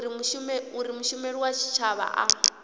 uri mushumeli wa tshitshavha a